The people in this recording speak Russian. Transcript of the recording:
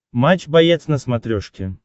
матч боец на смотрешке